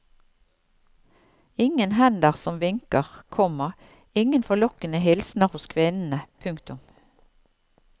Ingen hender som vinker, komma ingen forlokkende hilsner hos kvinnene. punktum